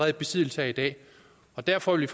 i besiddelse af i dag derfor vil